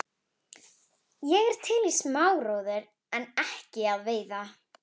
Ég er til í smá róður en ekki að veiða.